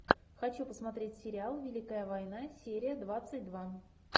хочу посмотреть сериал великая война серия двадцать два